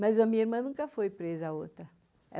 Mas a minha irmã nunca foi presa, a outra.